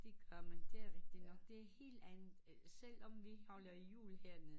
Det gør man det er rigtigt nok det er helt andet selvom vi holder jul hernede